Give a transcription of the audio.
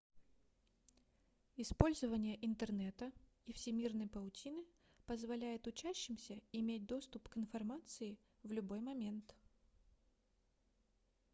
использование интернета и всемирной паутины позволяет учащимся иметь доступ к информации в любой момент